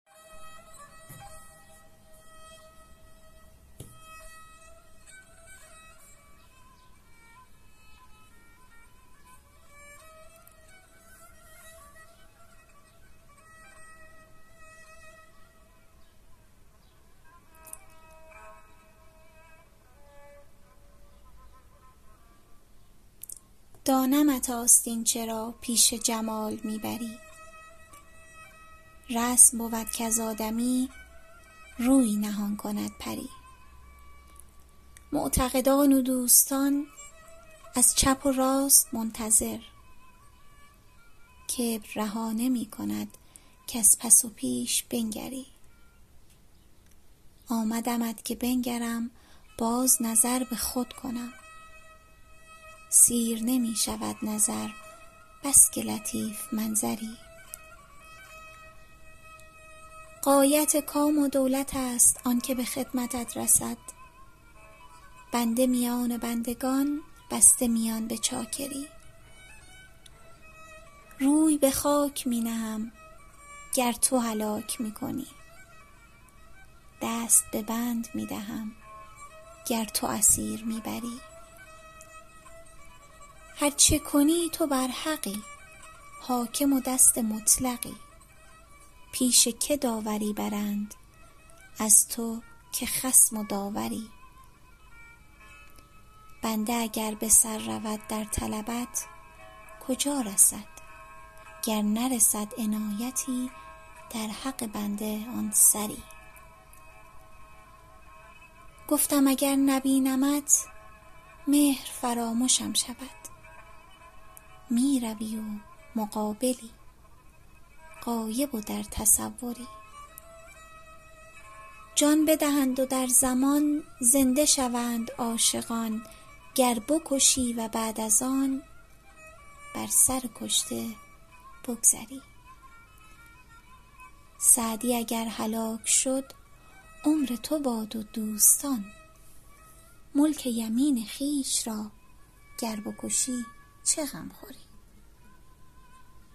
دانمت آستین چرا پیش جمال می بری رسم بود کز آدمی روی نهان کند پری معتقدان و دوستان از چپ و راست منتظر کبر رها نمی کند کز پس و پیش بنگری آمدمت که بنگرم باز نظر به خود کنم سیر نمی شود نظر بس که لطیف منظری غایت کام و دولت است آن که به خدمتت رسید بنده میان بندگان بسته میان به چاکری روی به خاک می نهم گر تو هلاک می کنی دست به بند می دهم گر تو اسیر می بری هر چه کنی تو برحقی حاکم و دست مطلقی پیش که داوری برند از تو که خصم و داوری بنده اگر به سر رود در طلبت کجا رسد گر نرسد عنایتی در حق بنده آن سری گفتم اگر نبینمت مهر فرامشم شود می روی و مقابلی غایب و در تصوری جان بدهند و در زمان زنده شوند عاشقان گر بکشی و بعد از آن بر سر کشته بگذری سعدی اگر هلاک شد عمر تو باد و دوستان ملک یمین خویش را گر بکشی چه غم خوری